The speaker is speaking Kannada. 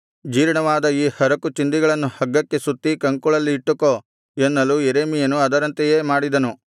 ಜೀರ್ಣವಾದ ಈ ಹರಕು ಚಿಂದಿಗಳನ್ನು ಹಗ್ಗಕ್ಕೆ ಸುತ್ತಿ ಕಂಕುಳಲ್ಲಿ ಇಟ್ಟುಕೋ ಎನ್ನಲು ಯೆರೆಮೀಯನು ಅದರಂತೆಯೇ ಮಾಡಿದನು